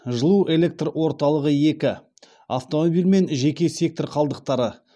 жылу электр орталығы екі автомобиль мен жеке сектор қалдықтары